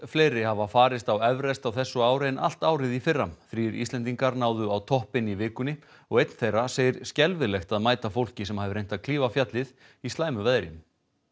fleiri hafa farist á Everest á þessu ári en allt árið í fyrra þrír Íslendingar náðu á toppinn í vikunni og einn þeirra segir skelfilegt að mæta fólki sem hafi reynt að klífa fjallið í slæmu veðri